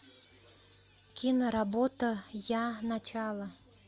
киноработа я начало